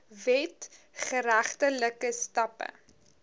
wet geregtelike stappe